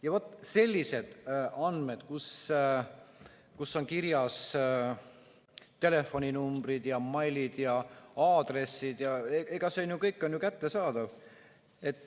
Ja vaat sellised andmed, kus on kirjas telefoninumbrid ja meilid ja aadressid, see kõik on ju kättesaadav.